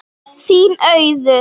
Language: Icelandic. Þín, Auður.